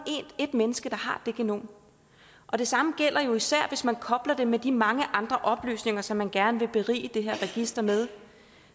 ét menneske der har det genom og det samme gælder især hvis man kobler det med de mange andre oplysninger som man gerne vil berige det her register med